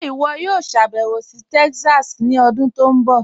Ṣe iwọ yòò ṣàbẹwo sí Texas ni ọdún tó nbọ?